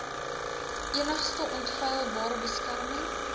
enigste onfeilbare beskerming